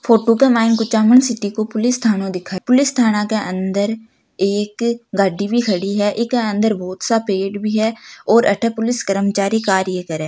फोटो के मायने कुछमन सिटी को पुलिस थानों दिखाई पुलिस ठाणे के अंदर एक गाड़ी भी खड़ी है इके अंदर बोहोत सा पेड़ भी है और अठे पुलिस कर्मचारी कार्य करे।